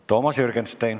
Toomas Jürgenstein.